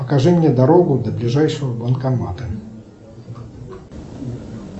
покажи мне дорогу до ближайшего банкомата